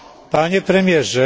Panie Premierze!